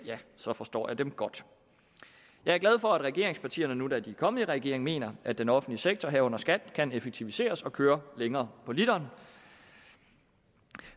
forstår jeg dem godt jeg er glad for at regeringspartierne nu da de er kommet i regering mener at den offentlige sektor herunder skat kan effektiviseres og køre længere på literen